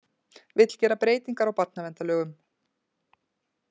Vill gera breytingar á barnaverndarlögum